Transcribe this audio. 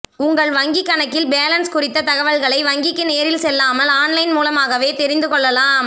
உங்கள் வங்கிக்கணக்கின் பேலன்ஸ் குறித்த தகவல்களை வங்கிக்கு நேரில் செல்லாமல் ஆன்லைன் மூலமாகவே தெரிந்து கொள்ளலாம்